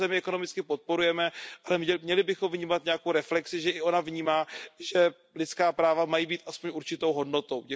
Tuto zemi ekonomicky podporujeme, ale měli bychom provést nějakou reflexi, že i ona vnímá, že lidská práva mají být alespoň určitou hodnotou.